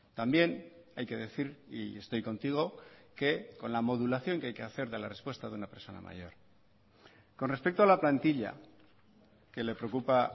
también hay que decir y estoy contigo que con la modulación que hay que hacer de la respuesta de una persona mayor con respecto a la plantilla que le preocupa